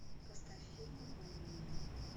поставь фильм обмани меня